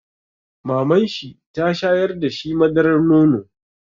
Mamanshi ta shayar da shi madarar nono.